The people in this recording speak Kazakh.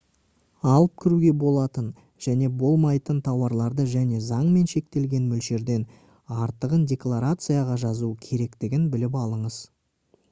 алып кіруге болатын және болмайтын тауарларды және заңмен шектелген мөлшерден артығын декларацияға жазу керектігін біліп алыңыз